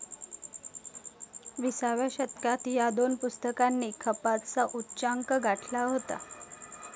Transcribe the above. विसाव्या शतकात ह्या दोन पुस्तकांनी खपाचा उच्चांक गाठला होता.